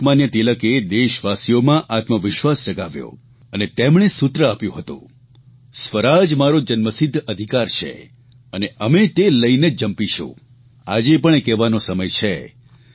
લોકમાન્ય તિલકે દેશવાસીઓમાં આત્મવિશ્વાસ જગાવ્યો અને તેમણે સૂત્ર આપ્યું હતું સ્વરાજ અમારો જન્મસિદ્ધ અધિકાર છે અને અમે તે લઇને જ જંપીશું આજે પણ એ કહેવાનો સમય છે